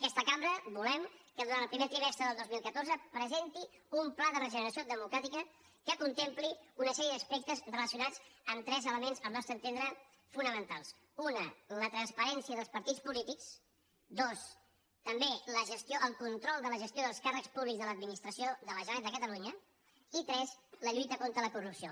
aquesta cambra volem que durant el primer trimes·tre del dos mil catorze presenti un pla de regeneració democràti·ca que contempli una sèrie d’aspectes relacionats amb tres elements al nostre entendre fonamentals un la transparència dels partits polítics dos també el con·trol de la gestió dels càrrecs públics de l’administració de la generalitat de catalunya i tres la lluita contra la corrupció